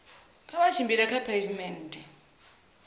kha vha tshimbile kha pheivimennde